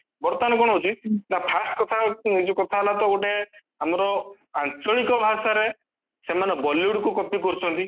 ବର୍ତମାନ କଣ ହଉଚି ନାଁ first କଥା ଏ ଯୋଉ କଥା ହେଲା ତ ଗୋଟେ ଆମର ଆଞ୍ଚଳିକ ଭାଷାରେ ସେମାନେ bollywood କୁ copy କରୁଚନ୍ତି